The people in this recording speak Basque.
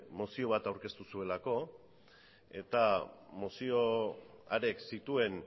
mozio bat aurkeztu zuelako eta mozio harek zituen